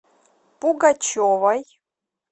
пугачевой